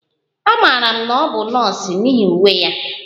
Amaara m na ọ bụ nọọsụ n'ihi uwe ya